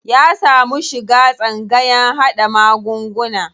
Ya samu shiga tsangayan haɗa magunguna.